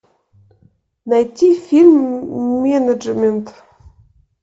найти фильм менеджмент